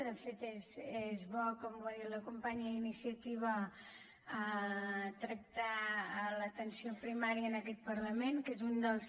de fet és bo com ha dit la companya d’iniciativa tractar l’atenció primària en aquest parlament que és un dels